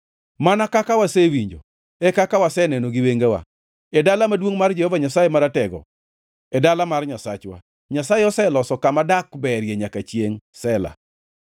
Mana kaka wasewinjo e kaka waseneno gi wengewa, e dala maduongʼ mar Jehova Nyasaye Maratego, e dala mar Nyasachwa: Nyasaye oselose kama dak berie nyaka chiengʼ. Sela